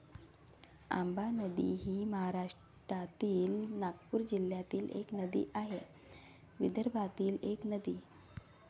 आंबा नदी ही महाराष्ट्रातील नागपूर जिल्ह्यातील एक नदी आहे. विदर्भातील एक नदी.